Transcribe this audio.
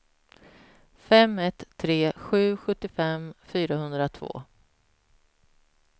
fem ett tre sju sjuttiofem fyrahundratvå